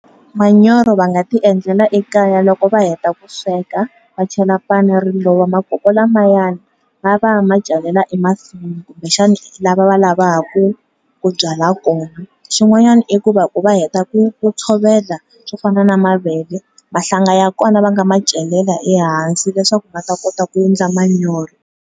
Manyoro va nga ti endlela ekaya loko va heta ku sweka, va chela pani makoko lamayani va ya va ya ma celela emasin'wini kumbe xana laha va lavaka ku byala kona xin'wanyana i ku va ku va heta ku ku tshovela swofana na mavele mahlanga ya kona va nga ma celela ehansi leswaku va ta kota ku endla manyoro.